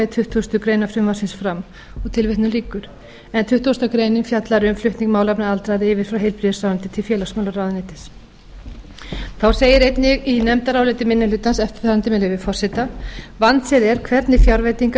tuttugustu greinar frumvarpsins fram tuttugasta grein fjallar um flutning málefna aldraðra yfir frá heilbrigðisráðuneyti til félagsmálaráðuneytis þá segir einnig í nefndaráliti minni hlutans eftirfarandi með leyfi forseta vandséð er hvernig fjárveitingar